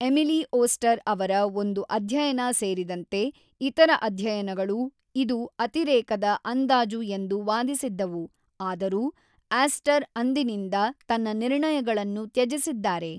Emily Oster ಅವರ ಒಂದು ಅಧ್ಯಯನ ಸೇರಿದಂತೆ ಇತರ ಅಧ್ಯಯನಗಳು ಇದು ಅತಿರೇಕದ ಅಂದಾಜು ಎಂದು ವಾದಿಸಿದ್ದವು, ಆದರೂ ಆಸ್ಟರ್ ಅಂದಿನಿಂದ ತನ್ನ ನಿರ್ಣಯಗಳನ್ನು ತ್ಯಜಿಸಿದ್ದಾರೆ.